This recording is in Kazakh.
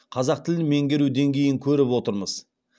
қазақ тілін меңгеру деңгейін көріп отырмыз